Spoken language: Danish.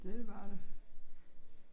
Det var det